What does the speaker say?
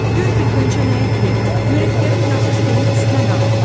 Gör bir Qönçə nə etdi, mürəkkəbi yazı stolunun üstünə dağıtdı.